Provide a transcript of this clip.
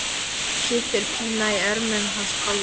Þá kippir Pína í ermina hans Palla.